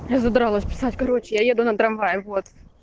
я задралась писать короче я еду на трамвае вот